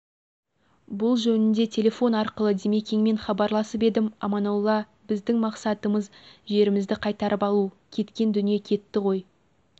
бұл жөнінде телефон арқылы димекеңмен хабаласып едім аманолла біздің мақсатымз жерімізді қайтарып алу кеткен дүние кетті ғой